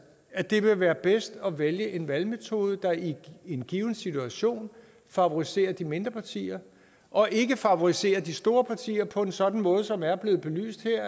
at det vil være bedst at vælge en valgmetode der i en given situation favoriserer de mindre partier og ikke favoriserer de store partier på en sådan måde som er blevet belyst her